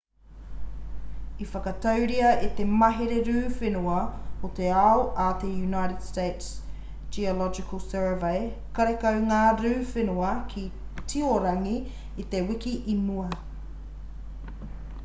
i whakaaturia e te mahere rū whenua o te ao a te united states geological survey karekau ngā rū whenua ki tiorangi i te wiki i mua